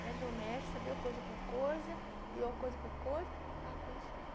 E ali o médico sabia coisa por coisa, e eu coisa por coisa, ficava por isso mesmo.